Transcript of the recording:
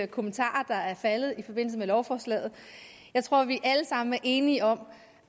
kommentarer der er faldet i forbindelse med lovforslaget jeg tror vi alle sammen er enige om